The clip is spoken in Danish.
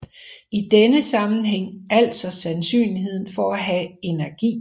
I denne sammenhæng altså sandsynligheden for at have energi